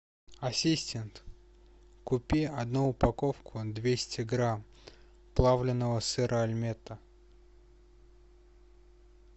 асистент купи одну упаковку двести грамм плавленного сыра альметте